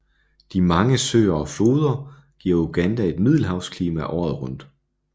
De mange søer og floder giver Uganda et middelhavsklima året rundt